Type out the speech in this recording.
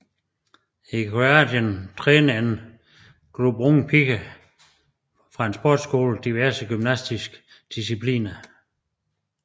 I Kroatien træner en gruppe unge piger fra en sportsskole diverse gymnastiske discipliner